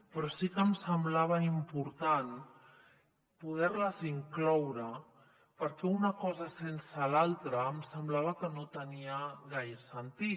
però sí que em semblava impor·tant poder·les incloure perquè una cosa sense l’altra em semblava que no tenia gai·re sentit